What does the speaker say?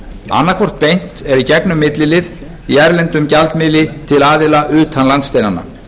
annaðhvort beint eða í gegnum millilið í erlendum gjaldmiðli til aðila utan landsteinanna